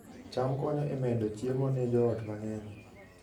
cham konyo e medo chiemo ne joot mang'eny